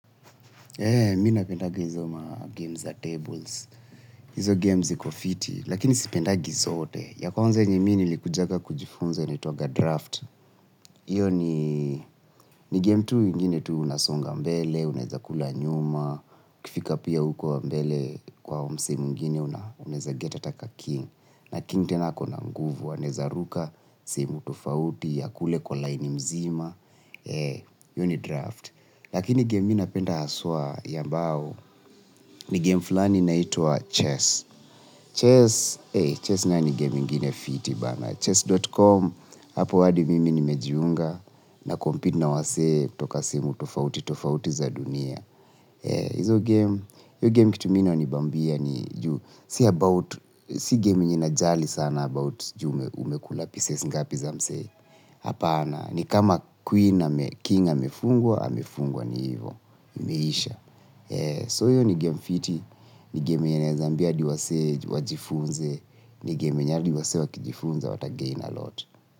Eee, mi napendaga hizo magame za tables. Hizo game ziko fiti, lakini sipendagi zote. Ya kwanza yenye mimi nilikujaga kujifunza initagwa draft. Iyo ni game tu ingine tu unasonga mbele, unaeza kula nyuma, ukifika pia uko mbele kwa msee mwingine unaeza get ata kaking. Na king tena akona nguvu, anaeza ruka, sehemu tofauti, akule kwa line mzima. Eee, hiyo ni draft. Lakini game mi napenda haswa ya mbao ni game fulani inaitwa Chess. Chess Chess nayo ni game ingine fiti bana. Chess.com hapo hadi mimi nimejiunga na compete na wasee toka sehemu tofauti tofauti za dunia. Hizo game hiyo game kitu inanibambia ni juu si about si game inayojali sana about umekula pieces gapi za msee apana ni kama queen ame king amefungwa amefungwa ni hivyo imeisha So iyo ni game fiti, ni game yenye nawezaambia hadi wasee, wajifunze, ni game hadi wasee wakijifunza, watagain alot.